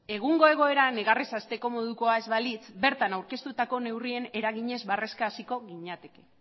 egungo egoera negarrez hasteko modukoa ez balitz bertan aurkeztutako neurrien eraginez barreka hasiko ginateke